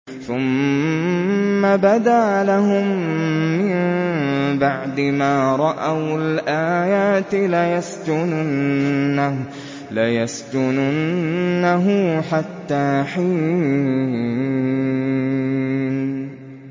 ثُمَّ بَدَا لَهُم مِّن بَعْدِ مَا رَأَوُا الْآيَاتِ لَيَسْجُنُنَّهُ حَتَّىٰ حِينٍ